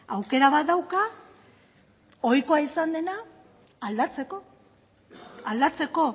aukera bat dauka ohikoa izan dena aldatzeko aldatzeko